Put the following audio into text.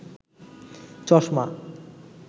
চশমা